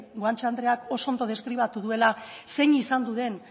guanche andreak oso ondo deskribatu duela zein izan den